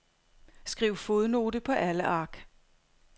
Skriv fodnote på alle ark.